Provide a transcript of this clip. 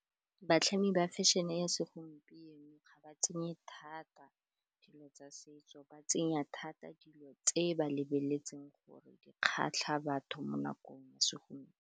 Batlhami ba fashion-e ya segompieno ga ba tsenye thata dilo tsa setso, ba tsenya thata dilo tse ba lebeletseng gore di kgatlha batho mo nakong ya segompieno.